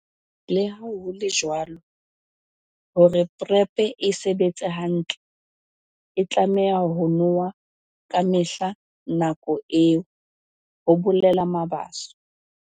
"Leha ho le jwalo, hore PrEP e sebetse hantle, e tlameha ho nowa kamehla nakong eo," ho bolela Mabaso.